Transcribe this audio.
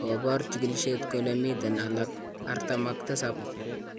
Kobor chikilishet kole miten alak 47.